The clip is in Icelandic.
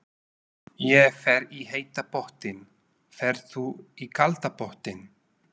Ég fer í heita pottinn. Ferð þú í kalda pottinn?